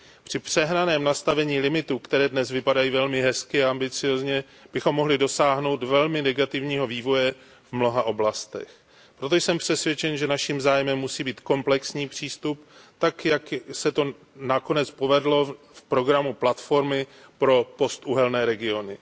Při přehnaném nastavení limitů, které dnes vypadají velmi hezky a ambiciózně, bychom mohli dosáhnout velmi negativního vývoje v mnoha oblastech. Taktéž jsem přesvědčen, že naším zájmem musí být komplexní přístup, tak jak se to nakonec povedlo v programu platformy pro postuhelné regiony.